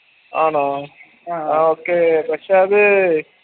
ആണോ പക്ഷെ അത്